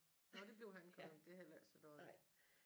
Nåh det blev Hancock men det er heller ikke så dårligt